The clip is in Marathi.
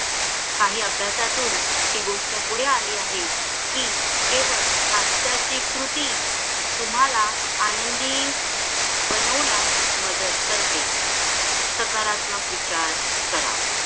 काहि अभ्यासातून हि गोष्ट पुढे आली आहे कि केवळ हास्याची कृती तुम्हाला आनंदी बनवण्यास मदत करते सकारात्मक विचार करा